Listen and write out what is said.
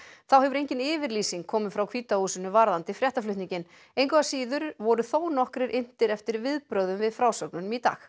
þá hefur engin yfirlýsing komið frá hvíta húsinu varðandi fréttaflutninginn engu að síður voru þónokkrir inntir eftir viðbrögðum við frásögnunum í dag